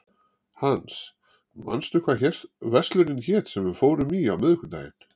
Hans, manstu hvað verslunin hét sem við fórum í á miðvikudaginn?